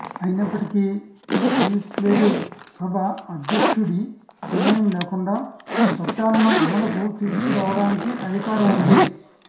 అయినప్పటికి లెజిస్లేటివ్ సభ అధ్యక్షుడి ప్రమేయం లేకుండా చట్టాలను అమలుకు తీసుకురావడానికి అధికారం ఉంది